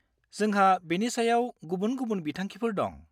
जोंहा बेनि सायाव गुबुन-गुबुन बिथांखिफोर दं।